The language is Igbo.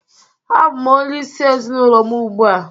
Abụ m onyeisi ezinụlọ m ugbu a